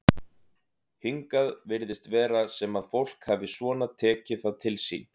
Hingað virðist vera sem að fólk hafi svona tekið það til sín?